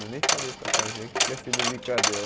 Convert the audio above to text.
Eu nem falei para a tiazinha que tinha sido brincadeira.